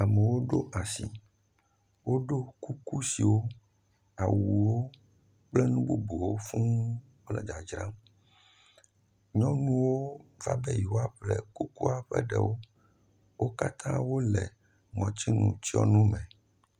Amewo ɖo asi. Woɖo koklosiwo, awuwo kple nu bubuwo fuu le dzadzram. Nyɔnuwo va be yewoaƒle kokloa ƒe ɖewo. Wo katã wo le ŋɔtsinutsɔnuwo me.